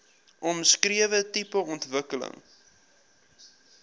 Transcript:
omskrewe tipe ontwikkeling